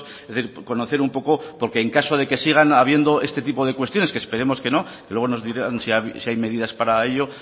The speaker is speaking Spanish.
es decir conocer un poco porque en caso de que sigan habiendo este tipo de cuestiones que esperemos que no luego nos dirán si hay medidas para ello